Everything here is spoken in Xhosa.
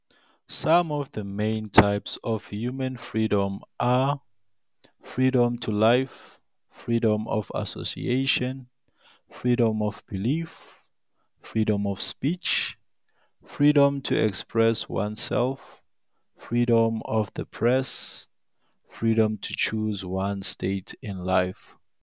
Some of the main types of human freedom are- freedom to life, freedom of association, freedom of belief, freedom of speech, freedom to express oneself, freedom of the press, freedom to choose one's state in life.